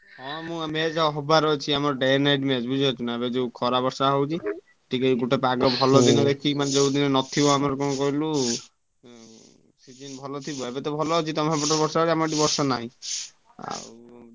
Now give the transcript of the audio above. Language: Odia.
ହଁ ମୁଁ match ହବାର ଅଛି। ଆମର day night match ବୁଝିପାରୁଛୁନା ଏବେ ଯୋଉ ଖରା ବର୍ଷା ହଉଛି ଟିକେ ଗୋଟେ ପାଗ ଭଲ ଦେଖିକି ନହେଲେ ଯୋଉଦିନ ନଥିବ ଆମର କଣ କହିଲୁ season ଭଲ ଥିବ ଏବେତ ଭଲ ଅଛି ତମ ସେପଟେ ବର୍ଷା ହଉଛି ଆମ ଏଠି ବର୍ଷା ନାହିଁ ଆଉ।